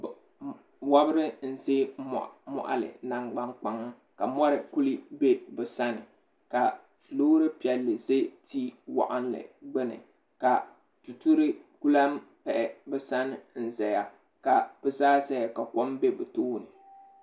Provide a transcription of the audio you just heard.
Wobiri n ʒɛ moɣili nangban kpaŋa ka wobiri ku ʒɛ bi sani ka loori piɛlli ʒɛ ti waɣanli gbuni ka tururi ku lahi ʒɛya ka bi zaa ʒɛya ka kom bɛ bi tooni